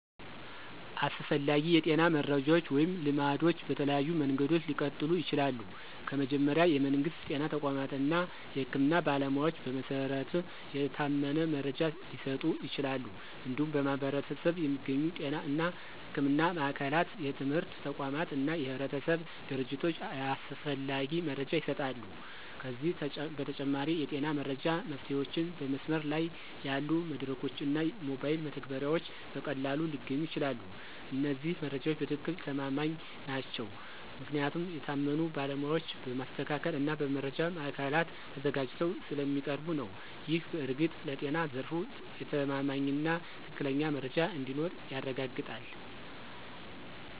አስፈላጊ የጤና መረጃዎች ወይም ልማዶች በተለያዩ መንገዶች ሊቀጥሉ ይችላሉ። ከመጀመሪያ፣ የመንግስት ጤና ተቋማት እና የህክምና ባለሞያዎች በመሰረት የታመነ መረጃ ሊሰጡ ይችላሉ። እንዲሁም በማኅበረሰብ የሚገኙ ጤና እና ሕክምና ማዕከላት፣ የትምህርት ተቋማት እና የህብረተሰብ ድርጅቶች ያስፈላጊ መረጃ ይሰጣሉ። ከዚህ በተጨማሪ፣ የጤና መረጃ መፍትሄዎችን በመስመር ላይ ያሉ መድረኮች እና ሞባይል መተግበሪያዎች በቀላሉ ሊገኙ ይችላሉ። እነዚህ መረጃዎች በትክክል ተማማኝ ናቸው ምክንያቱም የታመኑ ባለሞያዎች በማስተካከል እና በመረጃ ማዕከላት ተዘጋጅተው ስለሚያቀርቡ ነው። ይህ በእርግጥ ለጤና ዘርፍ የተማማኝና ትክክለኛ መረጃ እንዲኖር ያረጋግጣል።